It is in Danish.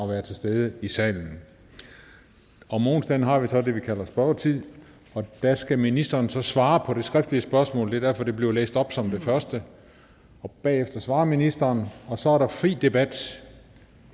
være til stede i salen om onsdagen har vi så det vi kalder spørgetid og der skal ministeren så svare på det skriftlige spørgsmål det er derfor det bliver læst op som det første bagefter svarer ministeren og så er der fri debat